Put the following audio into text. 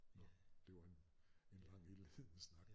Nåh det var en en lang indledende snak